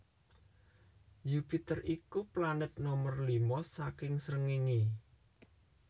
Yupiter iku planet nomer lima saking srengéngé